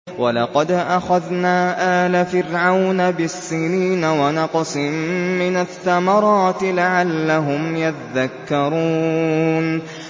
وَلَقَدْ أَخَذْنَا آلَ فِرْعَوْنَ بِالسِّنِينَ وَنَقْصٍ مِّنَ الثَّمَرَاتِ لَعَلَّهُمْ يَذَّكَّرُونَ